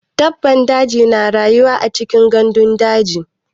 Dabban daji na rayuwa cikin gandun daji.